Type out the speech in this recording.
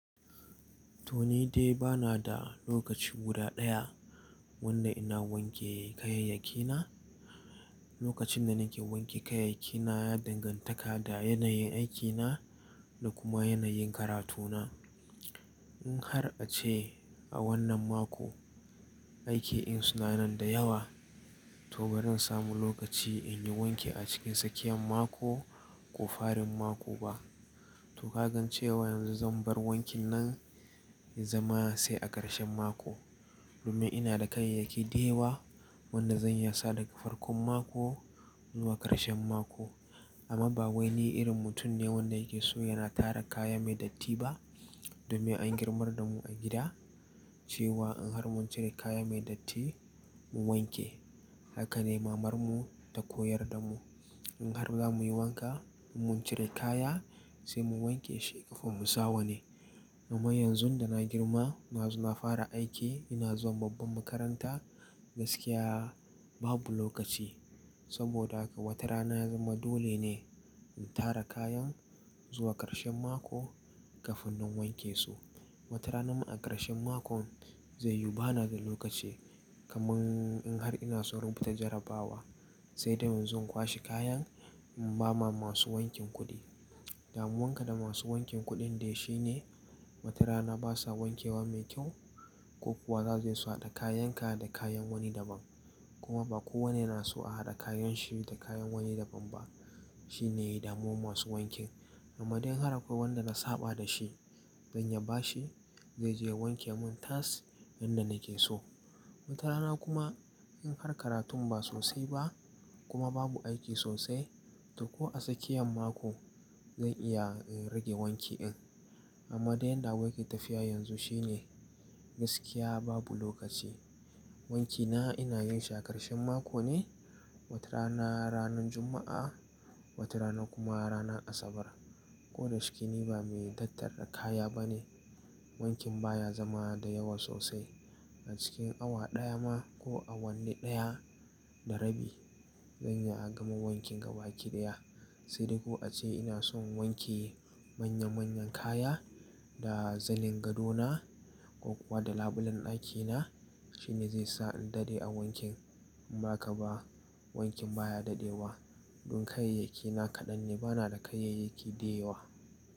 To ni dai ba na da lokaci guda ɗaya wanda ina wanke kayayyaki na. Lokacin da nake wanke kayayyaki na ya danganta da yanayin aiki na da kuma yanayin karatu na. In har a ce a wannan mako aiki in suna nan da yawa, to ba zan samu lokaci in yi wanki a cikin tsakiyan mako ko farin mako ba. To ka gan cewa yanzu zan bar wankin nan ya zama sai a ƙarshen mako. Domin ina da kayayyaki da yawa wanda zan iya sa daga farkon mako zuwa ƙarshen mako. Amma ba wai ni irin mutum ne wanda yake so yana tara kaya mai datti ba. Domin an girmar da mu a gida cewa in har mun cire kaya mai datti mu wanke. Haka ne mamar mu ta koyar da mu. In har za mu yi wanka in mun cire kaya sai mu wanke shi ƙafin mu sa wa ni. Amma yanzu da na girma, nazo na fara aiki, ina zuwa babban makaranta gaskiya babu lokaci. Saboda haka wata rana ya zama dole ne in tara kayan zuwa ƙarshen mako ƙafin in wanke su. Wata rana a ƙarshen mako zai yu bana da lokaci kaman in har ina so in rubuta jarrabawa sai dai in zo in kwashe kayan in ba ma masu wankin kuɗi. Damuwanka da masu wankin kuɗin dai shine wata rana basa wankewa mai kyau ko kuwa za su hada kayan ka da kayan wani da ban. Kuma ba kowane yana so a hada kayan shi da kayan wani da ban ba. Shi ne damuwan masu wankin. Amma dai in har akwai wanda na saɓa da shi zan iya bashi zai je ya wanke mun tas yanda nake so. Wata rana kuma in har karatun ba sosai ba kuma babu aiki sosai to ko a tsakiyan mako zan iya rage wanki in. Amma dai yanda abu tafiya yanzu shine gaskiya babu lokaci. Wanki na ina yin shi a ƙarshen mako ne, wata rana ranan Juma'a wata rana kuma ranan Asabar. Ko da shike ni ba mai tattara kaya ba ne. Wankin baya zama da yawa sosai. A cikin awa ɗaya ma ko awanni ɗaya da rabi zan iya gama wanki gabaƙi daya. Sai dai ko a ce ina son wanke manya manyan kaya da zanin gado na ko kuwa da labulen ɗaki na shine zai sa in dade a wankin. Inba haka ba wankin baya dadewa. Don kayayyaki na kaɗan ne bana da kayayyaki da yawa.